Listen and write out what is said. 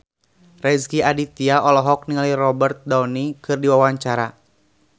Rezky Aditya olohok ningali Robert Downey keur diwawancara